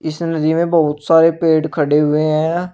इस नदी मे बहुत सारे पेड़ खड़े हुए हैं।